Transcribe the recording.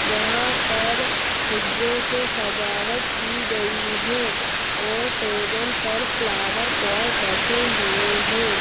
यहां पर फुगो से सजावट की गई है टेबल पर फ्लावर पॉट रखे हुए हैं।